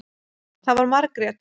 Það var Margrét.